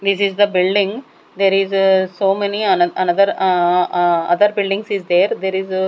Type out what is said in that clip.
this is the building there is ah so many ano another ahh ahh other buildings is there there is--